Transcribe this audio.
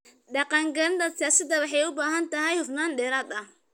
Dhaqangelinta siyaasaddu waxay u baahan tahay hufnaan dheeraad ah.